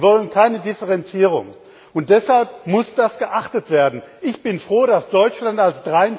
Sie wollen keine Differenzierung. Deshalb muss das geachtet werden. Ich bin froh, dass Deutschland als